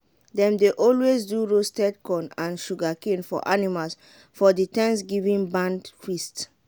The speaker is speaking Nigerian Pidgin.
dem dey always do roasted corn and sugarcane for animals for the thanksgiving barn feast.